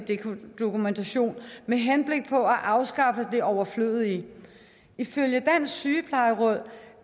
dokumentation med henblik på at afskaffe det overflødige ifølge dansk sygeplejeråd